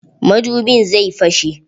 Madubin zai fashe.